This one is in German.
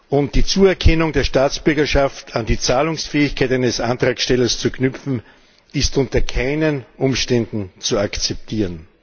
Und die Zuerkennung der Staatsbürgerschaft an die Zahlungsfähigkeit eines Antragstellers zu knüpfen, ist unter keinen Umständen zu akzeptieren!